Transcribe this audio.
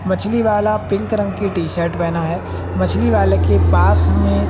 मछली वाला पिंक रंग की शर्ट बना है। मछली वाले के पास में।